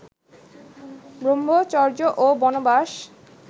ব্রম্ভচর্য ও বনবাস